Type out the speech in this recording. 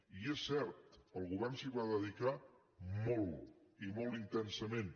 i és cert el govern s’hi va dedicar molt i molt intensament